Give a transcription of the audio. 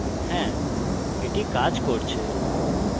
হ্যা এটি কাজ করছে